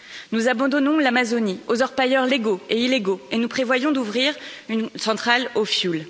Nous abandonnons l'Amazonie aux orpailleurs légaux et illégaux et nous prévoyons d'ouvrir une centrale au fioul.